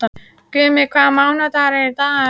Gummi, hvaða mánaðardagur er í dag?